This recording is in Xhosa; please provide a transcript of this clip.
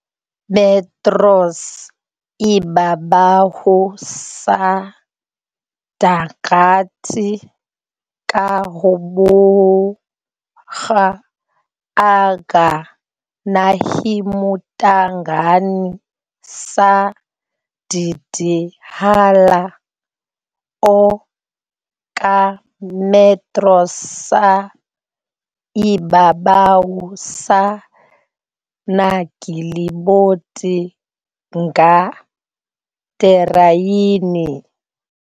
metros ibabaw sa dagat kahaboga ang nahimutangan sa Ddhäla, o ka metros sa ibabaw sa naglibot nga tereyn.